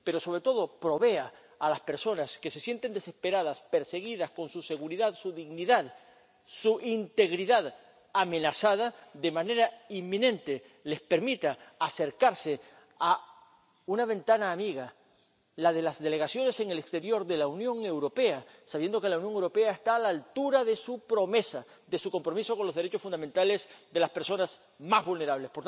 destino. Pero, sobre todo, permita a las personas que se sienten desesperadas, perseguidas, con su seguridad, su dignidad y su integridad amenazadas de manera inminente, acercarse a una ventana amiga la de las delegaciones en el exterior de la Unión Europea, sabiendo que la Unión Europea está a la altura de su promesa, de su compromiso con los derechos fundamentales de las personas más vulnerables.